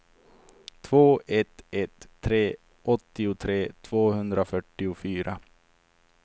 två ett ett tre åttiotre tvåhundrafyrtiofyra